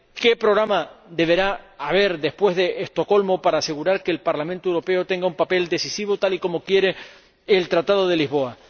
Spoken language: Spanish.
¿Qué programa deberá haber después de Estocolmo para asegurar que el Parlamento Europeo tenga un papel decisivo, tal y como quiere el Tratado de Lisboa?